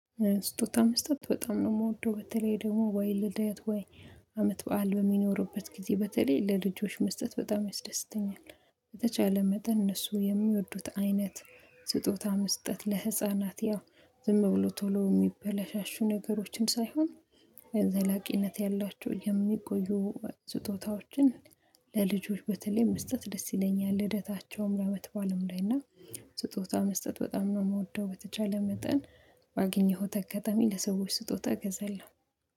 ስጦታ መስጠት በጣም ነው የምወደው በተለይ ደግሞ ወይ ልደት ወይ አመት በዓል በሚኖሩበት ጊዜ በተለይ ለልጆች መስጠት በጣም ያስደስተኛል። በተቻለ መጠን እነሱ የሚወዱት አይነት። ስጦታ መስጠት ለህፃናት ያው ዝም ብሎ ቶሎ የሚበላሻሹ ነገሮችን ሳይሆን የዘላቂነት ያላቸው የሚቆዩ ስጦታዎችን። ለልጆች በተለይ መስጠት ደስ ይለኛል ልደታቸውም ለአመትባልም ላይ እና። ስጦታ መስጠት በጣም ነው የምወደው በተቻለ መጠን ባገኘሁት አጋጣሚ ለሰዎች ስጦታ እገዛለሁ